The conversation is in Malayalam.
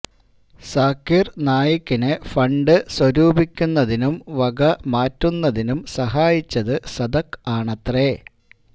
സാക്കിര് നായിക്കിന് ഫണ്ട് സ്വരൂപിക്കുന്നതിനും വക മാറ്റുന്നതിനും സഹായിച്ചത് സദക് ആണത്രെ